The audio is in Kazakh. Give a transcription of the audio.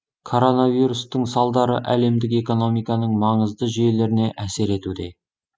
коронавирустың салдары әлемдік экономиканың маңызды жүйелеріне әсер етуде